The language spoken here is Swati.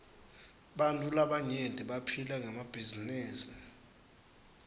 bantfu labaryenti baphila ngemabhizinisi